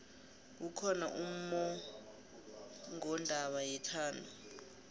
kukhona ummongondaba yethando